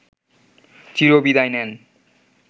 চিরবিদায় নেন